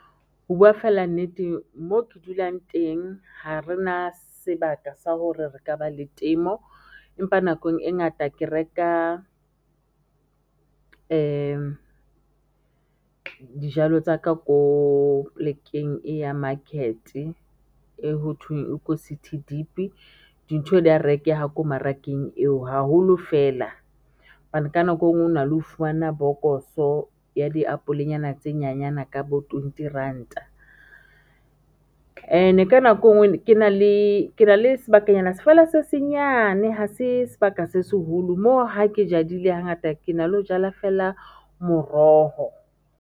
Ho bua fela nnete moo ke dulang teng ha re na sebaka sa hore re ka ba le temo empa nakong e ngata ke reka dijalo tsa ka ko plekeng e ya market e ho thweng e ko City Deep-e dintho di a rekeha ko mmarakeng eo haholo fela hobane ka nako engwe o na le ho fumana bokoso ya diapolenyana tse nyanyana ka bo twenty ranta and-e ka nako engwe ke na le sebakanyana feela se senyane ha se sebaka se seholo moo ha ke jadile hangata ke na le ho jala fela moroho.